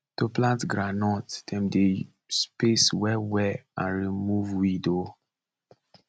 to plant groundnut dem dey space well well and remove weed um